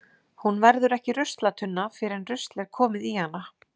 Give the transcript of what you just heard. Hún verður ekki ruslatunna fyrr en rusl er komið í hana.